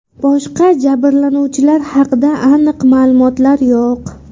Boshqa jabrlanuvchilar haqida aniq ma’lumotlar yo‘q.